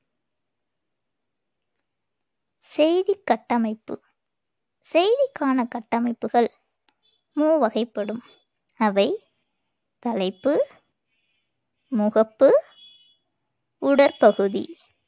செய்திக் கட்டமைப்பு செய்திக்கான கட்டமைப்புகள் மூவகைப்படும். அவை தலைப்பு, முகப்பு, உடற்பகுதி